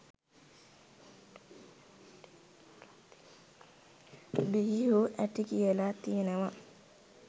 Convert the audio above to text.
බිහිවූ හැටි කියල තියෙනවා.